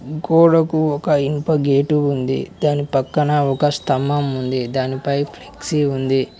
గోడకు ఒక ఇనుప గేటు ఉంది దాని పక్కన ఒక స్తంభం ఉంది దానిపై ఫ్లెక్సీ ఉంది.